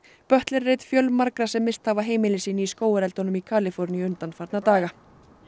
butler er einn fjölmargra sem misst hafa heimili sín í skógareldunum í Kaliforníu undanfarna daga